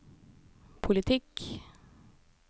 politikk